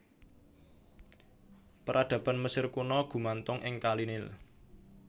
Peradaban Mesir Kuna gumantung ing kali Nil